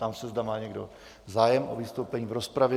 Ptám se, zda má někdo zájem o vystoupení v rozpravě?